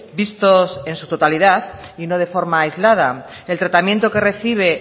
vistos en su totalidad y no de forma aislada el tratamiento que recibe